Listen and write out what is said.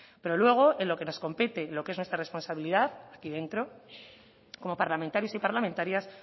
pero luego en lo que nos compete en lo que es nuestra responsabilidad aquí dentro como parlamentarios y parlamentarias